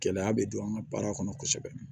Gɛlɛya bɛ don an ka baara kɔnɔ kosɛbɛ